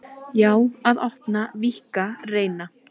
Sumir sýnast á floti.